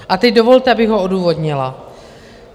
A teď dovolte, abych ho odůvodnila.